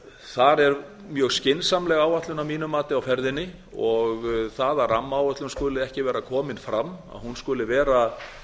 þar er mjög skynsamleg áætlun að mínu mati á ferðinni og það að rammaáætlun skuli ekki vera komin fram að hún